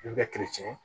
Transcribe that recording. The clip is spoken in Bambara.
I bɛ